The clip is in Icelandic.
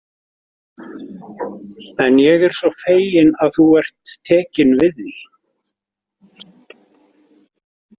En ég er svo feginn að þú ert tekin við því.